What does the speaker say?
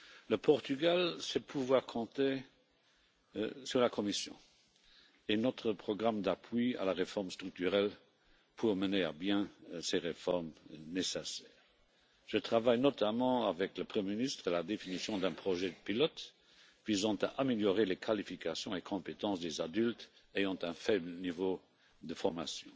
Le Portugal sait qu'il peut compter sur la Commission et sur notre programme d'appui à la réforme structurelle pour mener à bien ses réformes nécessaires. Je travaille notamment avec le Premier ministre à la définition d'un projet pilote visant à améliorer les qualifications et compétences des adultes ayant un faible niveau de formation.